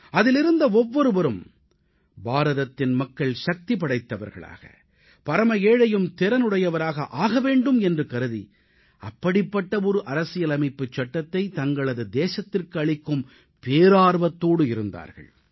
அதிலிருந்த ஒவ்வொருவரும் பாரதத்தின் மக்கள் சக்திபடைத்தவர்களாக பரம ஏழையும் திறனுடையவராக ஆக வேண்டும் என்று கருதி அப்படிப்பட்ட ஒரு அரசியலமைப்புச் சட்டத்தைத் தங்களது தேசத்திற்கு அளிக்கும் பேரார்வத்தோடு இருந்தார்கள்